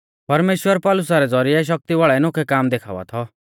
परमेश्‍वर पौलुसा रै ज़ौरिऐ शक्ति वाल़ै नोखै काम देखावा थौ